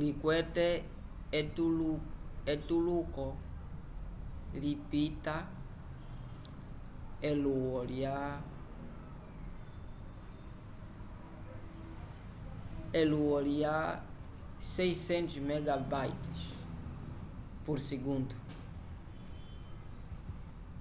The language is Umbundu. likwete etetuluko lipĩta elulwo lya 600mbit/s